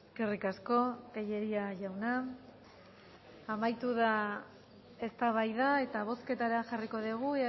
eskerrik asko tellería jauna amaitu da eztabaida eta bozketara jarriko dugu